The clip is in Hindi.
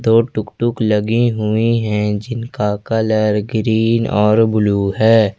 तो टुकटुक लगी हुई है जिनका कलर ग्रीन और ब्लू है।